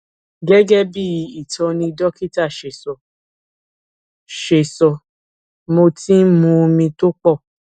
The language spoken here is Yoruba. gẹgẹ bí ìtọni dókítà ṣe sọ ṣe sọ mo ti ń mu omi tó pọ